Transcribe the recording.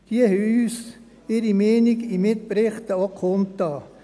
Diese haben uns ihre Meinungen auch in Mitberichten kundgetan.